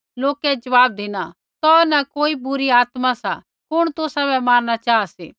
लोकै ज़वाब धिना तौ न कोई बुरी आत्मा सा कुण तुसाबै मारणा चाहा सी